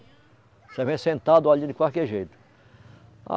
Você vem sentado ali de qualquer jeito.